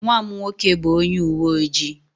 Nwa m nwoke bụ onye uwe ojii.